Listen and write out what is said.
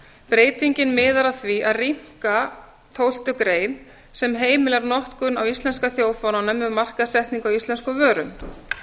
breytingin miðar að því að rýmka tólftu grein sem heimilar notkun á íslenska þjóðfánanum við markaðssetningu á íslenskum vörum